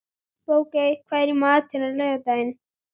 Bogey, hvað er í matinn á laugardaginn?